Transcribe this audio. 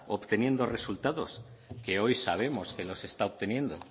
obteniendo resultados que hoy sabemos que los está obteniendo